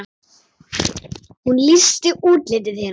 Hún lýsti útliti þeirra.